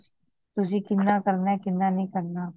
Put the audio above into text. ਤੁਸੀ ਕਿਹਨਾਂ ਕਰਨਾ ਕਿਹਨਾਂ ਨਹੀਂ ਕਰਨਾ